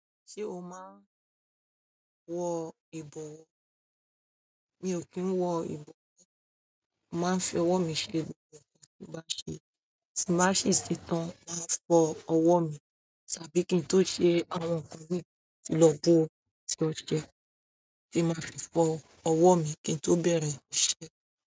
Ṣé o máa ń wọ ìbọwọ́? Mi ò kí ń wọ ìbọwọ́, màá ń fi ọwọ́ mi ṣe gbogbo ohun tí mo bá ṣe. Tì bá sì ṣe ṣetán máa fọ ọwọ́ mi, ṣàbí kí n tó ṣe àwọn nkan mí lọ bo tí ó ṣẹ. Ṣì má ṣe fọ ọwọ́ mi kí n tó bẹ̀rẹ̀ iṣẹ́.